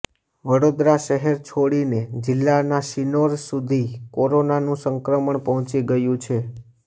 વડોદરા શહેર છોડીને જિલ્લાના શિનોર સુધી કોરોનાનું સંક્રમણ પહોચી ગયુ છે